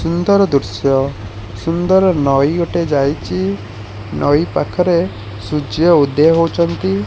ସୁନ୍ଦର ଦୃଶ୍ୟ ସୁନ୍ଦର ନଈ ଗୋଟେ ଯାଇଛି ନଈ ପାଖରେ ସୂର୍ଯ୍ୟ ଉଦୟ ହେଉଛନ୍ତି।